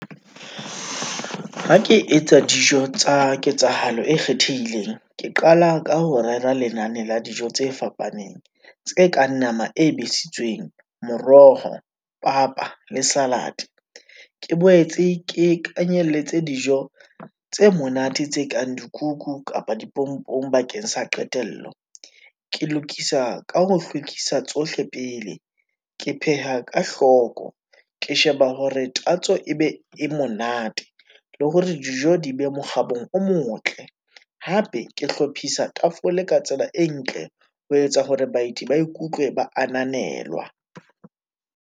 Ha ke etsa dijo tsa ketsahalo e kgethehileng, ke qala ka ho rera lenane la dijo tse fapaneng tse kang nama e besitsweng, moroho, papa le salad. Ke boetse ke kenyelletse dijo tse monate tse kang dikuku kapa dipompong bakeng sa qetello. Ke lokisa ka ho hlwekisa tsohle pele, ke pheha ka hloko, ke sheba hore tatso e be e monate le hore dijo di be mo kgabong o motle. Hape ke hlophisa tafole ka tsela e ntle, ho etsa hore baeti ba ikutlwe ba ananelwa.